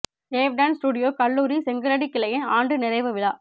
wave dance studio கல்லூரி செங்கலடி கிளையின் ஆண்டு நிறைவு விழா